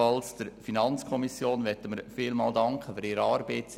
Auch möchten wir der FiKo für ihre Arbeit danken.